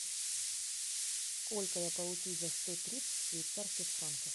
сколько я получу за сто тридцать швейцарских франков